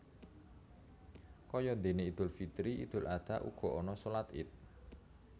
Kayadene Idul Fitri Idul Adha uga ana shalat Ied